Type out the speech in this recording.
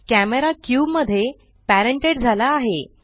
camera cube मध्ये parented झाला आहे